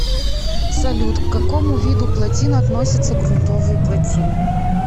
салют к какому виду плотин относятся грунтовые плотины